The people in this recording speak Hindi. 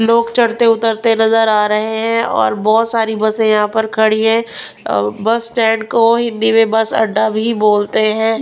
लोग चढ़ते उतरते नजर आ रहे हैं और बहुत सारी बसें यहां पर खड़ी हैं बस स्टैंड को हिंदी में बस अड्डा भी बोलते हैं.